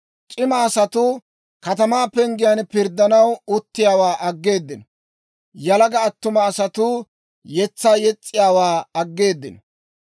C'ima asatuu katamaa penggen pirddanaw uttiyaawaa aggeeddino; yalaga attuma asatuu yetsaa yes's'iyaawaa aggeeddino.